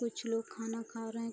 कुछ लोग खाना खा रहे हैं।